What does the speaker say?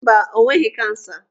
Mba, o nweghị kansa.